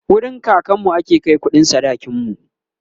wurin kakanmu ake Kai kuɗin sadakin mu